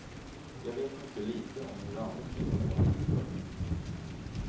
Jag vet mycket litet om hur andra kvinnor har det. punkt